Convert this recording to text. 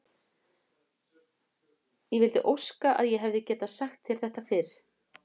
Ég vildi óska að ég hefði getað sagt þér þetta fyrr.